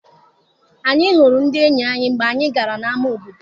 Anyị hụrụ ndị enyi anyị mgbe anyị gara na-ama obodo.